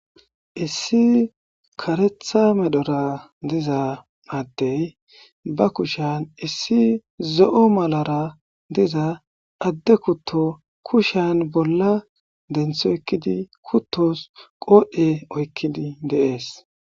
Issi karetha medhora diza adde ba kushan issi zo'o malara diza adde kuto kushiyan bola denti oykidi kutos qodhe oykidi de'es.